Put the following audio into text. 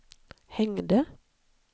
hängde